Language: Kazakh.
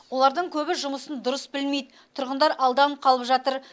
олардың көбі жұмысын дұрыс білмейді тұрғындар алданып қалып жатыр